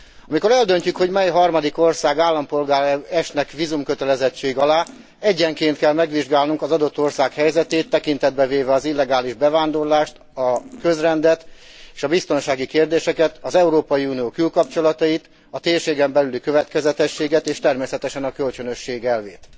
Amikor eldöntjük, hogy mely harmadik ország állampolgárai esnek vízumkötelezettség alá, egyenként kell megvizsgálnunk az adott ország helyzetét, tekintetbe véve az illegális bevándorlást, a közrendet és a biztonsági kérdéseket, az Európai Unió külkapcsolatait, a térségen belüli következetességet és természetesen a kölcsönösség elvét.